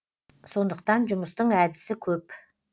сондықтан жұмыстың әдісі көп